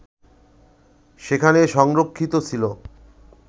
সেখানে সংরক্ষিত ছিল